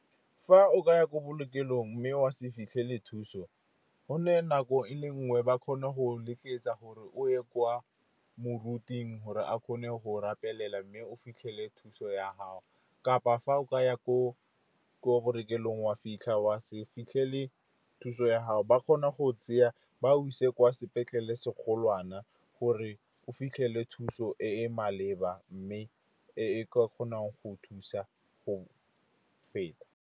Fa o ka ya ko bookelong mme wa se fitlhele thuso, gonne nako e le nngwe ba kgone go letsetsa gore o ye kwa moruting gore a kgone go rapelela, mme o fitlhele thuso ya gago. Kapa fa o ka ya ko bookelong, wa fitlha wa se fitlhele thuso ya gago, ba kgona go tseya, ba go ise kwa sepetlele se kgolwana gore o fitlhele thuso e e maleba, mme e ka kgonang go thusa go feta.